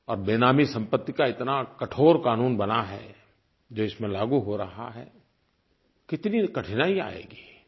और बेनामी संपत्ति का इतना कठोर क़ानून बना है जो इसमें लागू हो रहा है कितनी कठिनाई आएगी